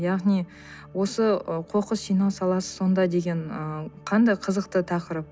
яғни осы ы қоқыс жинау саласы сонда деген ыыы қандай қызықты тақырып